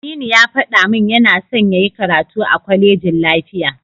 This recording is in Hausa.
Aminu ya faɗa min yana son yayi karatu a kwalejin lafiya.